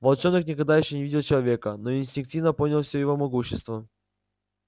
волчонок никогда ещё не видел человека но инстинктивно понял все его могущество